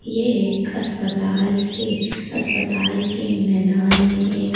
ये एक अस्पताल है अस्पताल के मैदान में एक--